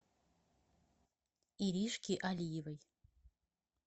иришки алиевой